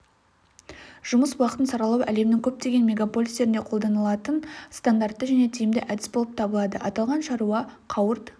жұмыс уақытын саралау әлемнің көптеген мегаполистерінде қолданылатын стандартты және тиімді әдіс болып табылады аталған шара қауырт